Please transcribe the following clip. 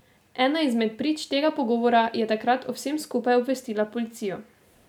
Ena izmed prič tega pogovora je takrat o vsem skupaj obvestila policijo.